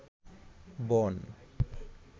বন